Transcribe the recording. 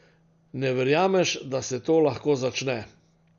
Ne verjameš, da se to lahko začne.